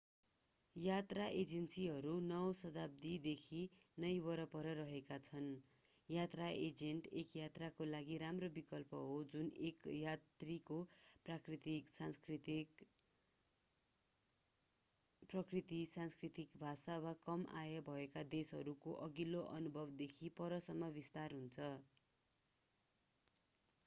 यात्रा एजेन्सीहरू 19 औं शताब्दी देखि नै वरपर रहेका छन् यात्रा एजेन्ट एक यात्राका लागि राम्रो विकल्प हो जुन एक यात्रीको प्रकृति संस्कृति भाषा वा कम आय भएका देशहरूको अघिल्लो अनुभवदेखि परसम्म विस्तार हुन्छ